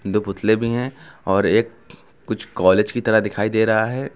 दो पुतले भी है और एक कुछ कॉलेज की तरह दिखाई दे रहा है।